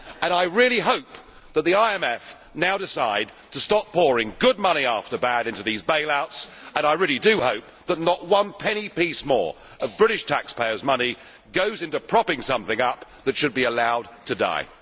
I really hope that the IMF now decides to stop pouring good money after bad into these bailouts, and I really do hope that not one penny piece more of British taxpayers' money goes into propping something up that should be allowed to die.